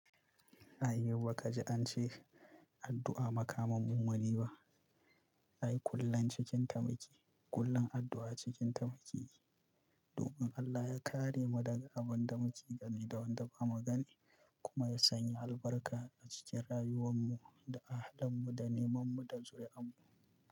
A yiwu ka ji an ce, addu'a makamun mumini ba. Ai kullum cikin tamaki, kullum addu'a cikin tamake Domin Allah ya kare mu daga abin da mu ci gani da wanda ba mu gani, kuma ya sanya albarka a cikin rayuwanmu da a halinmu da nemanmu da zuriyar mu.